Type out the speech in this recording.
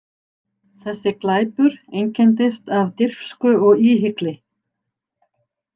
Þessi glæpur einkenndist af dirfsku og íhygli.